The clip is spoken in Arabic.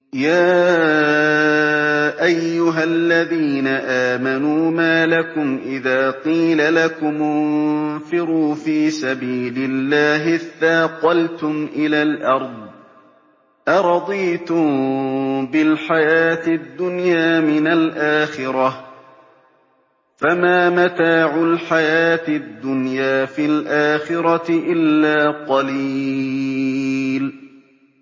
يَا أَيُّهَا الَّذِينَ آمَنُوا مَا لَكُمْ إِذَا قِيلَ لَكُمُ انفِرُوا فِي سَبِيلِ اللَّهِ اثَّاقَلْتُمْ إِلَى الْأَرْضِ ۚ أَرَضِيتُم بِالْحَيَاةِ الدُّنْيَا مِنَ الْآخِرَةِ ۚ فَمَا مَتَاعُ الْحَيَاةِ الدُّنْيَا فِي الْآخِرَةِ إِلَّا قَلِيلٌ